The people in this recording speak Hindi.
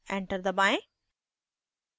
enter दबाएं